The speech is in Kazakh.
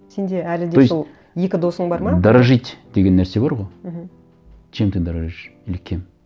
сенде әлі де сол то есть екі досың бар ма дорожить деген нәрсе бар ғой мхм чем ты дорожишь или кем